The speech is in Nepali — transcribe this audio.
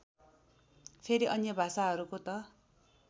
फेरि अन्य भाषाहरूको त